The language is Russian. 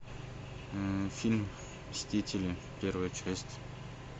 фильм мстители первая часть